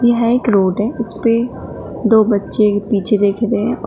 यह एक रोड है इस पे दो बच्चे पीछे देख रहे हैं और--